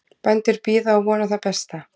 Bændur bíða og vona það besta